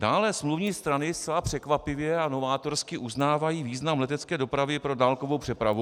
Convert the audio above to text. Dále smluvní strany zcela překvapivě a novátorsky uznávají význam letecké dopravy pro dálkovou přepravu.